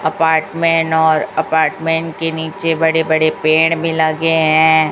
Apartment और apartment के नीचे बड़े बड़े पेड़ भी लगे हैं।